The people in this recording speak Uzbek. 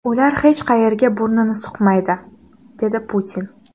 Ular hech qayerga burnini suqmaydi”, dedi Putin.